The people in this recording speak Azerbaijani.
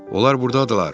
Onlar burdadırlar.